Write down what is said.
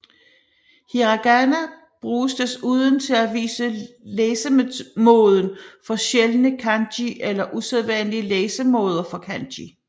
Hiragana bruges desuden til at vise læsemåden for sjældne kanji eller usædvanlige læsemåder for kanji